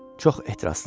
Çox ehtiraslı idi.